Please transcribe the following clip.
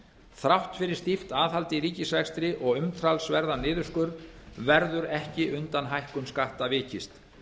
þrátt fyrir stíft aðhald í ríkisrekstri og umtalsverðan niðurskurð verður ekki undan hækkun skatta vikist